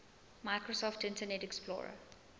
microsoft internet explorer